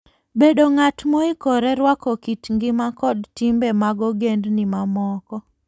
Bed ng'at moikore rwako kit ngima kod timbe mag ogendini mamoko.